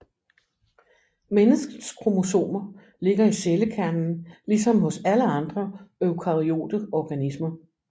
Menneskets kromosomer ligger i cellekernen ligesom hos alle andre eukaryote organismer